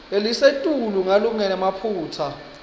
lelisetulu ngalokungenamaphutsa